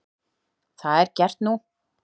Það er gert nú.